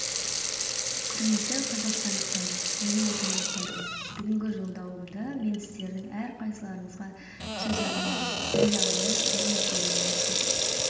құрметті қазақстандықтар менің отандастарым бүгінгі жолдауымда мен сіздердің әрқайсыларыңызға сөз арнаймын ел алдында ірі мәселелер тұр